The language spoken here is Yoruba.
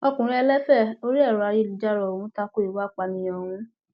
ọkùnrin ẹlẹfẹ orí ẹrọ ayélujára ọhún ta ko ìwà ìpànìyàn ọhún